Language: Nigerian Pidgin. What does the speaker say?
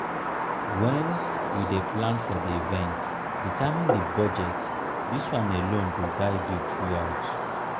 when you dey plan for di event determine di budget this one alone go guide you throughout